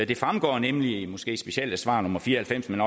det fremgår nemlig måske ikke specielt af svar nummer fire og halvfems men